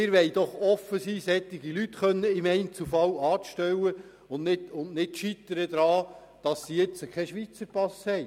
Wir wollen offen sein, solche Leute im Einzelfall einstellen zu können und nicht daran scheitern, dass diese keinen Schweizer Pass besitzen.